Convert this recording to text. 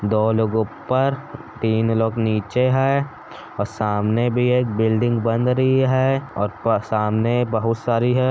दो लोग ऊपर तीन लोग नीचे हैं और सामने भी एक बिल्डिंग बन रही है और सामने बहुत सारी हैं।